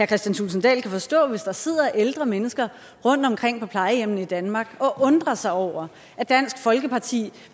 kristian thulesen dahl kan forstå hvis der sidder ældre mennesker rundtomkring på plejehjemmene i danmark og undrer sig over at dansk folkeparti